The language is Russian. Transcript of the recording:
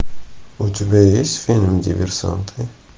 у тебя есть фильм диверсанты